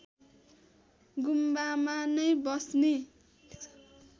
गुम्बामा नै बस्ने